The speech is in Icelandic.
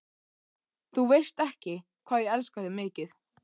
Þú veist ekki, hvað ég elska þig mikið.